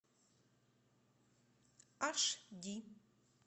аш ди